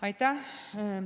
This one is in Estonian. Aitäh!